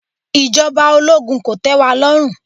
Ìjọba ológun kò tẹ́ wa lọ́rùn